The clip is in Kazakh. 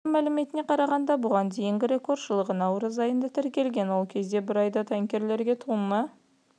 консорциум мәліметіне қарағанда бұған дейінгі рекорд жылғы наурыз айында тіркелген ол кезде бір айда танкерлерге тонна